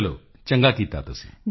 ਚਲੋ ਚੰਗਾ ਕੀਤਾ ਤੁਸੀਂ